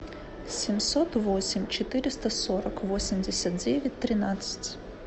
семьсот восемь четыреста сорок восемьдесят девять тринадцать